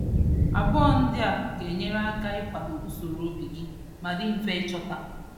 Abụọ ndị a ga-enyere aka ịkwado usoro obi gị ma dị mfe ịchọta.